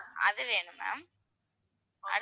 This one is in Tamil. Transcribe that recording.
அது வேணும் ma'am